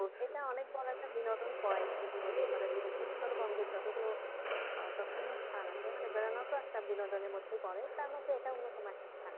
এটা অনেক বড় একটা বিনোদন point যদি বলি আমরা যে উত্তরবঙ্গের যতগুলো আহ দর্শনীয় স্থান আছে মানে বেড়ানোটা একটা বিনোদনের মধ্যে পড়ে তার মধ্যে এটা অন্যতম একটা স্থান।